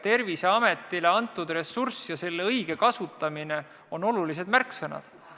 Terviseametile antud ressurss ja selle õige kasutamine on olulised märksõnad.